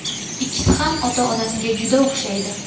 Ikkisi ham ota-onasiga juda o‘xshaydi.